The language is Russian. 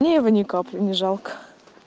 мне его ни капли не жалко